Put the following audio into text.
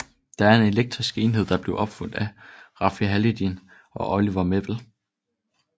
Det er en elektronisk enhed der blev opfundet af Rafi Haladjian og Olivier Mével